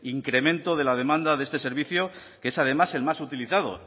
incremento de la demanda de este servicio que es además el más utilizado